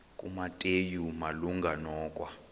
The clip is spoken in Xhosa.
kumateyu malunga nokwa